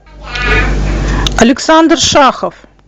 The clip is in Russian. александр шахов